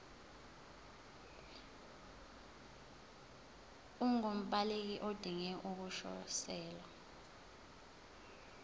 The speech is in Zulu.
ungumbaleki odinge ukukhosela